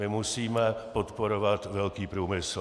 My musíme podporovat velký průmysl."